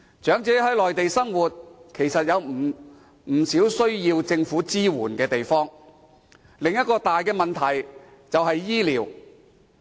長者在內地生活，其實有不少需要政府支援的地方，而另一個大問題就是醫療。